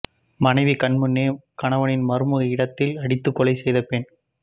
மனைவி கண்முன்னே கணவனின் மர்ம இடத்தில் அடித்து கொலை செய்த பெண்